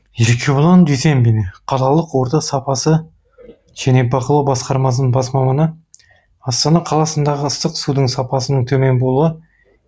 еркебұлан дүйсенбин қалалық орта сапасы және бақылау басқармасының бас маманы астана қаласындағы ыстық судың сапасының төмен болуы